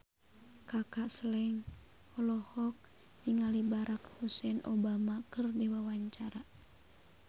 Kaka Slank olohok ningali Barack Hussein Obama keur diwawancara